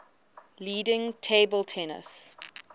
leading table tennis